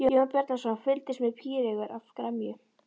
Jón Bjarnason fylgdist með píreygur af gremju.